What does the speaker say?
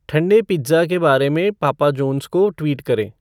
ठन्डे पिज़्ज़ा के बारे में पापा जोन्स को ट्वीट करें